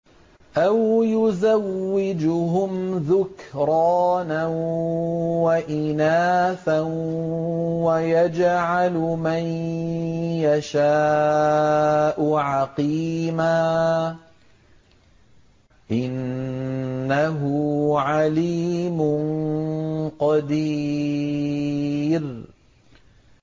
أَوْ يُزَوِّجُهُمْ ذُكْرَانًا وَإِنَاثًا ۖ وَيَجْعَلُ مَن يَشَاءُ عَقِيمًا ۚ إِنَّهُ عَلِيمٌ قَدِيرٌ